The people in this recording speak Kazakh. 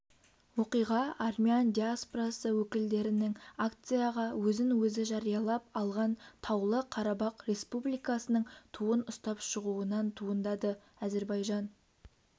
оқиға армян диаспорасы өкілдерінің акцияға өзін-өзі жариялап алған таулы қарабақ республикасының туын ұстап шығуынан туындады әзербайжан